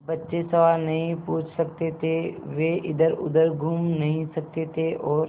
बच्चे सवाल नहीं पूछ सकते थे वे इधरउधर घूम नहीं सकते थे और